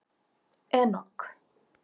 Enok